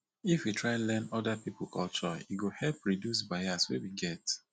if we try learn oda pipo culture e go help reduce bias wey we get